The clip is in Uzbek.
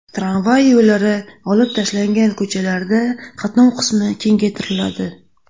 Tramvay yo‘llari olib tashlangan ko‘chalarda qatnov qismi kengaytiriladi.